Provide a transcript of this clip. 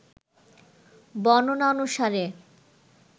বর্ণনা অনুসারে